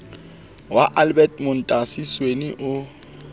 wa albert montasi sweni o